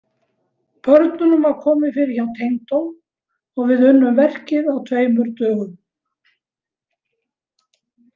Börnunum var komið fyrir hjá tengdó og við unnum verkið á tveimur dögum.